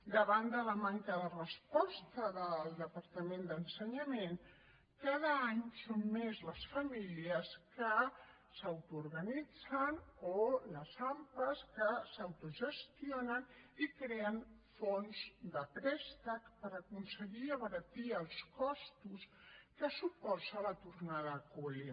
davant de la manca de resposta del departament d’ensenyament cada any són més les famílies que s’autoorganitzen o les ampa que s’autogestionen i creen fons de préstec per aconseguir abaratir els costos que suposa la tornada a col·le